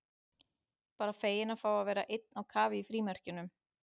Bara feginn að fá að vera einn á kafi í frímerkjunum.